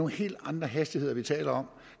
helt andre hastigheder vi taler om